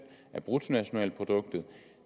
af bruttonationalproduktet